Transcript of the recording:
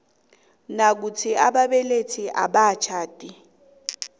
nayikuthi ababelethi abakatjhadi